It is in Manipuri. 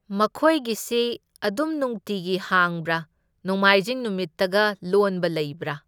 ꯃꯈꯣꯏꯒꯤꯁꯤ ꯑꯗꯨꯝ ꯅꯨꯡꯇꯤꯒꯤ ꯍꯥꯡꯕ꯭ꯔꯥ? ꯅꯣꯡꯃꯥꯏꯖꯤꯡ ꯅꯨꯃꯤꯠꯇꯒ ꯂꯣꯟꯕ ꯂꯩꯕ꯭ꯔꯥ?